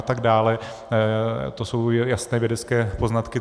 Ale to jsou jasné vědecké poznatky.